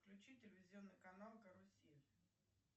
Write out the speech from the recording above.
включи телевизионный канал карусель